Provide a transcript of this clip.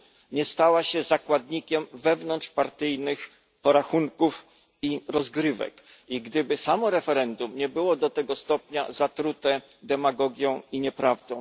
nie stała się zakładnikiem wewnątrzpartyjnych porachunków i rozgrywek i gdyby samo referendum nie było do tego stopnia zatrute demagogią i nieprawdą.